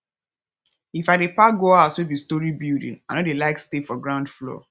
if i dey pack go house wey be storey building i no dey like stay for ground floor